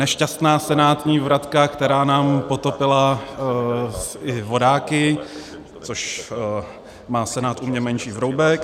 Nešťastná senátní vratka, která nám potopila i vodáky, což má Senát u mě menší vroubek.